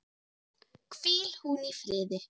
Hvíl hún í friði.